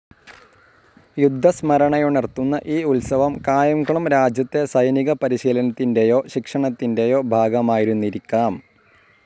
യുദ്ധസ്മരണയുണർത്തുന്ന ഈ ഉത്സവം കായംകുളം രാജ്യത്തെ സൈനികപരിശീലനത്തിൻ്റെയോ ശിക്ഷണത്തിൻ്റെയോ ഭാഗമായിരുന്നിരിക്കാം.